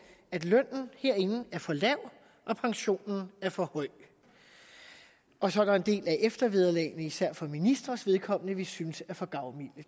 at lønnen herinde er for lav og pensionen er for høj og så er der en del af eftervederlagene især for ministres vedkommende som vi synes er for gavmilde